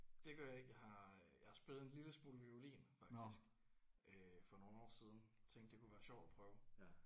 Det gør jeg ikke jeg har øh jeg har spillet en lille smule violin faktisk øh for nogle år siden tænkte det kunne være sjovt at prøve